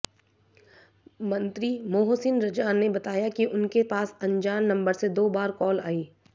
मंत्री मोहसिन रजा ने बताया कि उनके पास अन्जान नम्बर से दो बार कॉल आई